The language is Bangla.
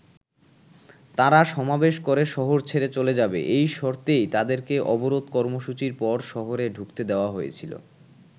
তারা সমাবেশ করে শহর ছেড়ে চলে যাবে এই শর্তেই তাদেরকে অবরোধ কর্মসুচির পর শহরে ঢুকতে দেয়া হয়েছিল।